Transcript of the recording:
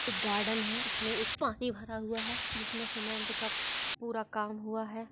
एक गार्डन है उसमें एक पानी भरा हुआ है जिसमें सीमेंट का पूरा काम हुआ है।